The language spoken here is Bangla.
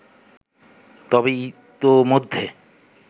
তবে ইতোমধ্যে